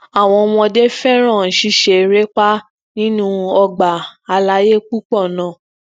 awọn ọmọde fẹran ṣiṣe ereepa nínú ọgbà alaye pupọ náà